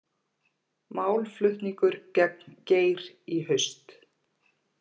Málflutningur gegn Geir í haust